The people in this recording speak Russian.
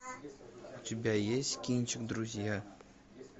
у тебя есть кинчик друзья